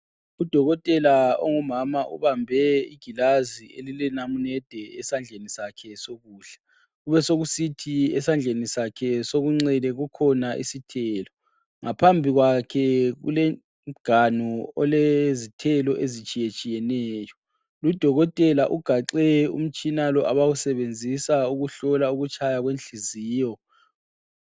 Udokotela ongumama ubambe igilazi elilenamunede esandleni sakhe sokudla. Kubesokusithi esandleni sakhe sokunxele kukhona isithelo. Ngaphambi kwakhe kulomganu olezithelo ezitshiyetshiyeneyo. Ludokotela ugaxe umtshina lo abawusebenzisa ukuhlola ukutshaya kwenhliziyo.